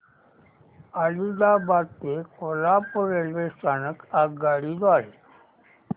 आदिलाबाद ते कोल्हापूर रेल्वे स्थानक आगगाडी द्वारे